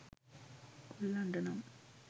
කොල්ලන්ට නම්